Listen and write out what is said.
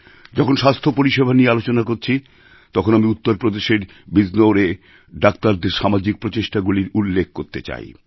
যখন স্বাস্থ্য পরিসেবা নিয়ে আলোচনা করছি তখন আমি উত্তর প্রদেশের বিজনোরে ডাক্তারদের সামাজিক প্রচেষ্টাগুলির উল্লেখ করতে চাই